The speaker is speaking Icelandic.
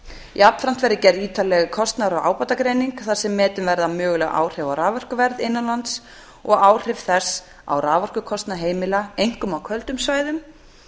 jafnframt verði gerð ítarleg kostnaðar og ábatagreining þar sem metin verða möguleg áhrif á raforkuverð innanlands og áhrif þess á raforkukostnað heimila einkum á köldum svæðum